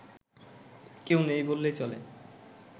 কেউ নেই বললেই চলে